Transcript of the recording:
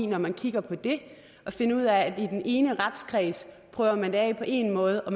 når man kigger på det at finde ud af at i den ene retskreds prøver man det af på én måde og